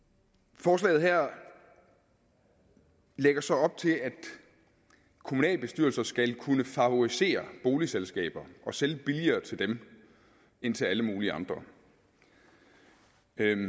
forslaget her lægger så op til at kommunalbestyrelser skal kunne favorisere boligselskaber og sælge billigere til dem end til alle mulige andre